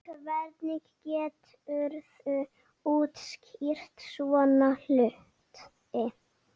Hvernig geturðu útskýrt svona hluti?